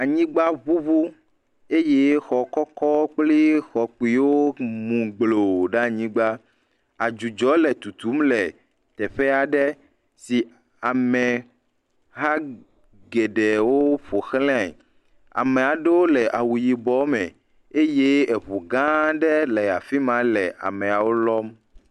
Anyigba ŋuŋu eye xɔ kɔkɔ kpli xɔ kpuiwo mu gbloo ɖe anyigba, adzudzɔ le tutum le teƒe aɖe si ameha geɖewo ƒo xlae, ame aɖewo le awu yibɔ me eye eŋu gãa aɖe le afi ma le ameawo lɔm.